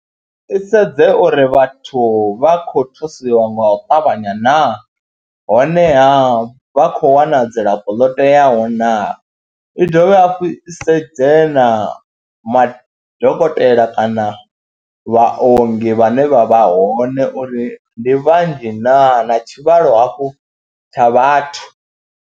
I sedze uri vhathu vha khou thusiwa nga u ṱavhanya na honeha vha khou wana dzilafho ḽo teaho naa, i dovhe hafhu i sedze na madokotela kana vhaongi vhane vha vha hone uri ndi vhanzhi naa, na tshivhalo hafhu tsha vhathu.